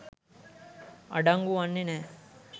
අඩංගු වන්නේ නෑ.